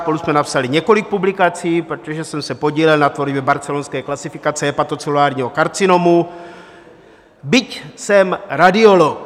Spolu jsme napsali několik publikací, protože jsem se podílel na tvorbě barcelonské klasifikace hepatocelulárního karcinomu, byť jsem radiolog.